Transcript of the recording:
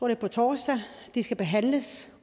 er på torsdag de skal behandles